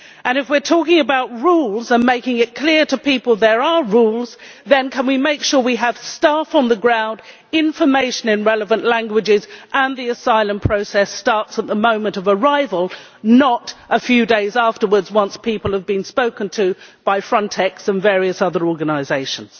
If we are talking about rules and are making it clear to people that there are rules, then can we make sure we have staff on the ground and information in relevant languages, and that the asylum process starts at the moment of arrival, not a few days afterwards once people have been spoken to by Frontex and various other organisations.